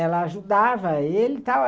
Ela ajudava ele e tal.